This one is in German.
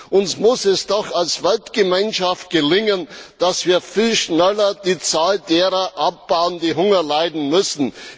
Uns muss es doch als Weltgemeinschaft gelingen, dass wir viel schneller die Zahl derer abbauen, die Hunger leiden müssen.